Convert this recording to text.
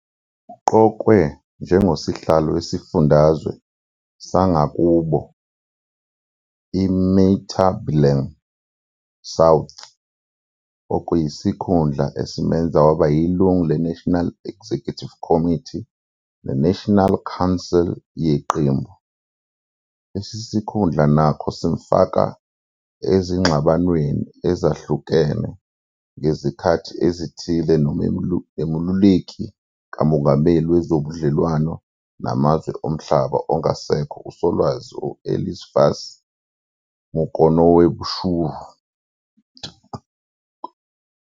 Uqokwe njengosihlalo wesifundazwe sangakubo iMatebeleland South, okuyisikhundla esimenze waba yilungu leNational Executive Committee neNational Council yeqembu. Lesi sikhundla nokho samfaka ezingxabanweni ezehlukene ngezikhathi ezithile noMeluleki kaMongameli Wezobudlelwano Namazwe Omhlaba ongasekho uSolwazi Eliphas Mukonoweshuro.